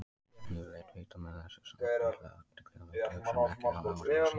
Yfirleitt veita menn þessu samt litla athygli og láta hugsanirnar ekki hafa áhrif á sig.